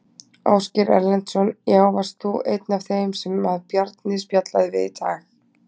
Ásgeir Erlendsson: Já, varst þú einn af þeim sem að Bjarni spjallaði við í dag?